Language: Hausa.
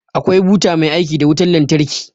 Akwai buta mai aiki da wutar lantarki